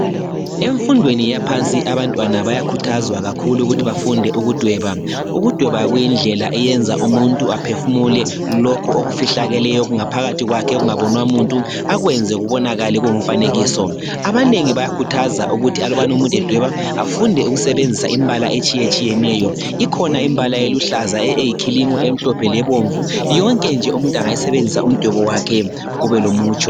emfundweni yaphansi abantwana bayakhuthazwa kakhulu ukuthi bafunde ukudweba, ukudweba kuyindlela eyenza umuntu aphefumule lokhu okufihlakeleyo okungaphakathi kwakhe okungabonwa muntu akwenze kubonakale kungumfanekiso abanengi bayakhuthaza ukuthi alubana umutnu edweba afunde ukusebenzisa imbala etshiyetshiyeneyo ikhona imbala eluhlaza eyikhilimu emhlophe lebomvu yonke nje umuntu engayisebenzisa umdwebo wakhe ube lomutsho